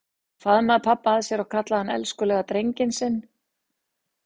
Hún faðmaði pabba að sér og kallaði hann elskulega drenginn sinn.